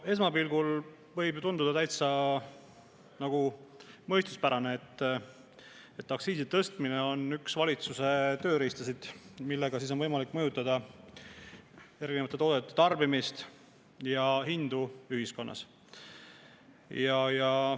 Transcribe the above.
Esmapilgul võib ju tunduda täitsa mõistuspärane, et aktsiisi tõstmine on üks valitsuse tööriistu, millega on võimalik mõjutada erinevate toodete tarbimist ja hindu ühiskonnas.